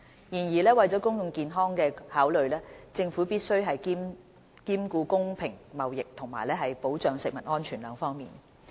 然而，為了公共健康的考慮，政府須兼顧公平貿易和保障食物安全兩方面。